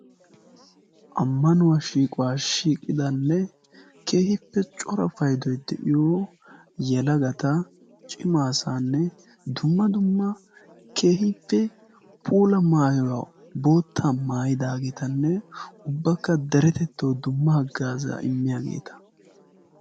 ammanuwaa shiiqquwaa shiqqidanne keehippe cora payddoy de'iyoo yelagata cima asaanne dumma dumma keehippe puula mayuwaa bootta maayidagetanne ubbakaa derettettawu dumma hagaazzaa immiyaageta.